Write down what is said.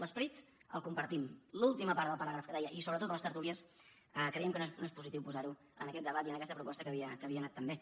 l’esperit el compartim l’última part del paràgraf que deia i sobretot a les tertúlies creiem que no és positiu posar ho en aquest debat i en aquesta proposta que havia anat tan bé